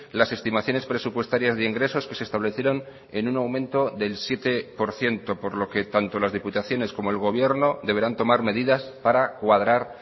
las estimaciones presupuestarias de ingresos que se establecieron en un aumento del siete por ciento por lo que tanto las diputaciones como el gobierno deberán tomar medidas para cuadrar